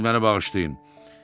Siz məni bağışlayın.